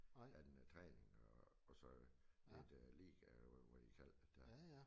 Han øh træninger og og så lidt øh ligaer hvad hvad de kaldte det der